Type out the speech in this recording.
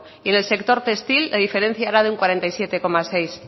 y en el sector textil la diferencia era de un cuarenta y siete coma seis